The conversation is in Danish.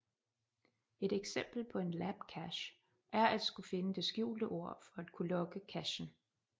Et eksempel på en labcache er at skulle finde det skjulte ord for at kunne logge cachen